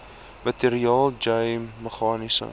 materiaal j meganiese